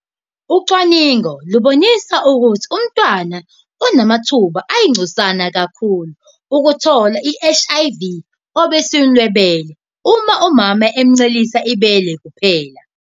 Ucwaningo lubonise ukuthi umntwana unamathuba ayingcosana kakhulu okuthola i-HIV obisini lwebele uma umama emuncelisa ibele kuphela.